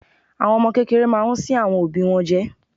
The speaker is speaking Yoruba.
Àwọn ọmọ kékeré máa ń sín àwọn òbí wọn jẹ.